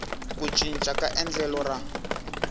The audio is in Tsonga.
ku cinca ka endlelo ra